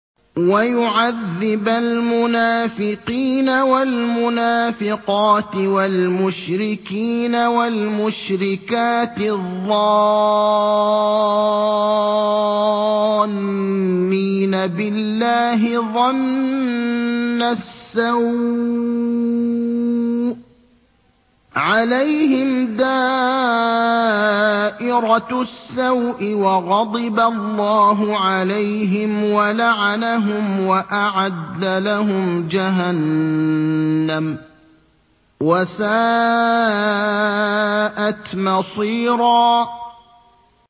وَيُعَذِّبَ الْمُنَافِقِينَ وَالْمُنَافِقَاتِ وَالْمُشْرِكِينَ وَالْمُشْرِكَاتِ الظَّانِّينَ بِاللَّهِ ظَنَّ السَّوْءِ ۚ عَلَيْهِمْ دَائِرَةُ السَّوْءِ ۖ وَغَضِبَ اللَّهُ عَلَيْهِمْ وَلَعَنَهُمْ وَأَعَدَّ لَهُمْ جَهَنَّمَ ۖ وَسَاءَتْ مَصِيرًا